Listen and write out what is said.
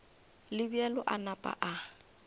le bjalo a napa a